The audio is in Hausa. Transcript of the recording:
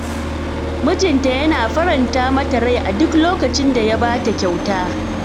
Mijinta yana faranta mata rai a duk lokacin da ya ba ta kyauta.